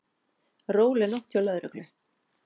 Róleg nótt hjá lögreglu